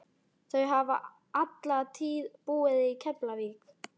Þau hafa alla tíð búið í Keflavík.